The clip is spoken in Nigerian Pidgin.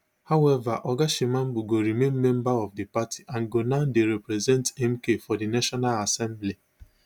however oga shivambu go remain member of di party and go now dey represent mk for di national assembly